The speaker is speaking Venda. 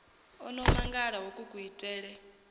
o no mangala hoku kuitele